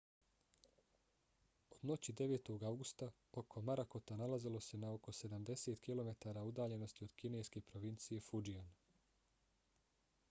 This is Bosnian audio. od noći 9. avgusta oko morakota nalazilo se na oko sedamdeset kilometara udaljenosti od kineske provincije fujian